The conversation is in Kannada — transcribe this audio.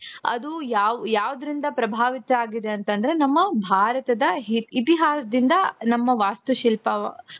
ಅದು ಯಾವ್ ಯಾವುದರಿಂದ ಪ್ರಭಾವಿತ ಆಗಿದೆ ಅಂತಂದ್ರೆ ನಮ್ಮ ಭಾರತದ ಇತಿಹಾಸದಿಂದ ನಮ್ಮ ವಾಸ್ತುಶಿಲ್ಪ